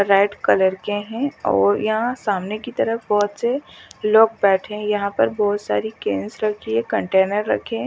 Red colour के है और यहां सामने की तरफ बोहत से लोग बेठे है यहां पर बोहोत सारी कैन रखी है कंटेनर रखे है ।